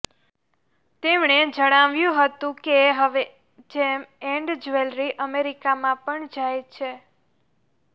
તેમણે જણાવ્યું હતું કે હવે જેમ એન્ડ જ્વેલરી અમેરિકામાં પણ જાય છે